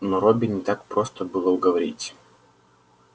но робби не так просто было уговорить